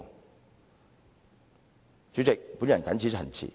代理主席，我謹此陳辭。